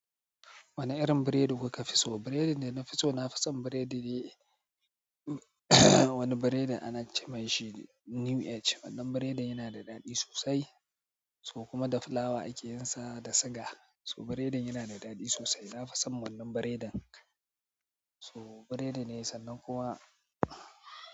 Wane irin biredi kuka fi so? Biredin da na fi so, na fi son biredi. Wani biredin ana ce mai shi New Age. Wannan biredin yana da daɗi sosai. So kuma da fulawa ake yin sa da siga. To biredin ya na da daɗi sosai. Na fi son wannan biredin. So biredi ne sannan kuwa.